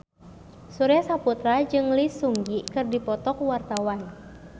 Surya Saputra jeung Lee Seung Gi keur dipoto ku wartawan